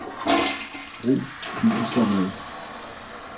Brug filformat.